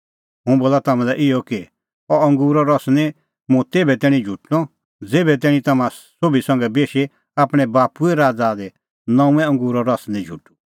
हुंह बोला तम्हां लै इहअ कि अह अंगूरो रस निं मुंह तेभै तैणीं झुटणअ ज़ेभै तैणीं तम्हां सोभी संघै बेशी आपणैं बाप्पूए राज़ा दी नऊंअ अंगूरो रस निं झुटूं